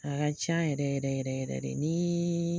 A ka ca yɛrɛ yɛrɛ yɛrɛ yɛrɛ de nin